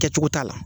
Kɛcogo t'a la